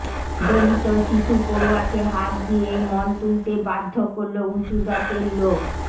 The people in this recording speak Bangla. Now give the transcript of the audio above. দলিত শিশু পড়ুয়াকে হাত দিয়ে মল তুলতে বাধ্য করল উঁচুজাতের লোক